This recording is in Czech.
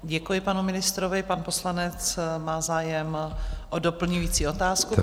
Děkuji panu ministrovi, pan poslanec má zájem o doplňující otázku.